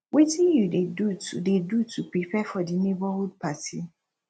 wetin you dey do to dey do to prepare for di neighborhood party